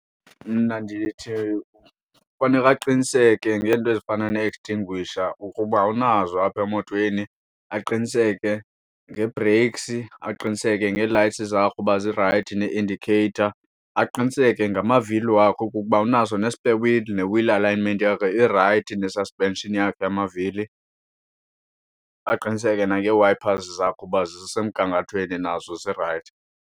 Mna ndithi faneka aqiniseke ngeento ezifana nee-extinguisher ukuba unazo apha emotweni. Aqiniseke ngeebhreyiksi, aqiniseke ngee-lights zakhe uba zirayithi nee-indicator. Aqiniseke ngamavili wakho okokuba unaso ne-spare wheel ne-wheel alignment yakho irayithi, ne-suspension yamavili. Aqiniseke nangee-wipers zakhe uba zisemgangathweni, nazo zirayithi.